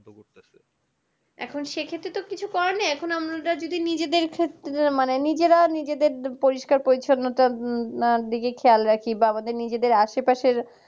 এখন সে ক্ষেত্রে তো কিছু করার নেই এখন আমরা নিজেদের মানে নিজেদের নিজেরা নিজেদের পরিষ্কার পরিচ্ছন্ন তার দিকে খেয়াল রাখি বা আমাদের নিজেদের আশেপাশের